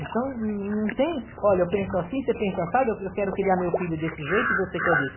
Então, não não tem, olha, eu penso assim, você pensa assado, eu quero criar meu filho desse jeito e você quer desse.